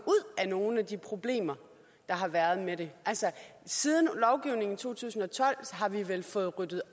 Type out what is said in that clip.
af nogle af de problemer der har været med det siden lovgivningen i to tusind og tolv har vi vel fået ryddet